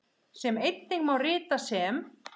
sem einnig má rita sem